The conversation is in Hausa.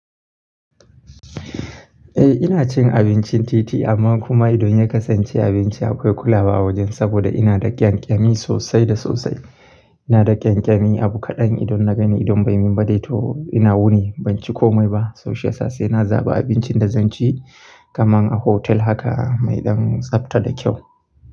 Eh ina cin abincin titi amma kuma idan ya kasance abinci akwai kulawa a wajen saboda ina da ƙyanƙyami sosai da sosai. Ina da ƙyanƙyami abu kaɗan idan na gani idan bai min ba dai to ina wuni ban ci komai ba. So shiyasa sai na zaɓa abincin da zan ci kaman a hotel haka mai ɗan tsafta da kyau.